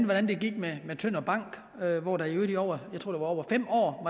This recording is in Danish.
hvordan det gik med tønder bank hvor der i øvrigt i over fem år